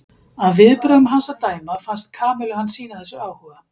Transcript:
Af viðbrögðum hans að dæma fannst Kamillu hann sýna þessu áhuga.